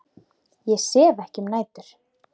Ég sef ekki um nætur.